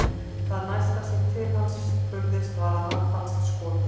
Það næsta sem til hans spurðist var að hann fannst skotinn.